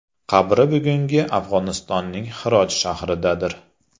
Qabri bugungi Afg‘onistonning Hirot shahridadir.